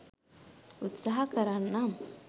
උත්සහ කරන්නම්